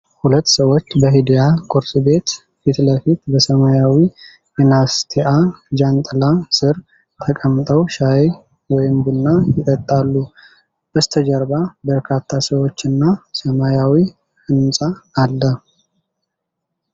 ሁለት ሰዎች በ"ሂዳያ ቁርስ ቤት" ፊት ለፊት በሰማያዊ የናስቴአ ጃንጥላ ስር ተቀምጠው ሻይ ወይም ቡና ይጠጣሉ። በስተጀርባ በርካታ ሰዎች እና ሰማያዊ ሕንፃ አለ።